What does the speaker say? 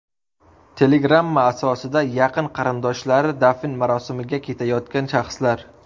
Telegramma asosida yaqin qarindoshlari dafn marosimiga ketayotgan shaxslar.